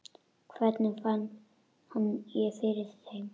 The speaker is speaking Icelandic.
Hvernig ég fann fyrir þeim?